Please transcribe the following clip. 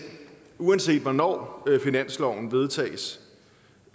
uanset hvornår finansloven vedtages